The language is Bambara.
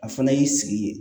A fana y'i sigi ye